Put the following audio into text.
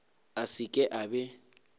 a se ke a be